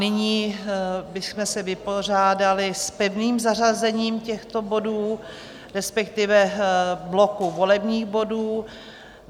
Nyní bychom se vypořádali s pevným zařazením těchto bodů, respektive bloku volebních bodů.